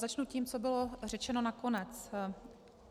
Začnu tím, co bylo řečeno nakonec.